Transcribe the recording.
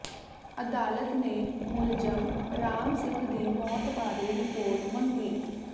ਅਦਾਲਤ ਨੇ ਮੁਲਜ਼ਮ ਰਾਮ ਸਿੰਘ ਦੀ ਮੌਤ ਬਾਰੇ ਰਿਪੋਰਟ ਮੰਗੀ